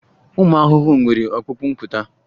Ụmụ ahụhụ nwere ọkpụkpụ mpụta